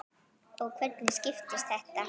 Og hvernig skiptist þetta?